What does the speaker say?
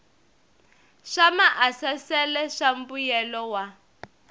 swa maasesele swa mbuyelo wa